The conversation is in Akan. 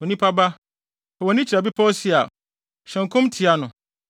“Onipa ba, fa wʼani kyerɛ Bepɔw Seir; hyɛ nkɔm tia no,